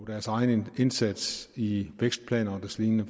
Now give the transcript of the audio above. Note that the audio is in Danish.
deres egen indsats i vækstplaner og deslignende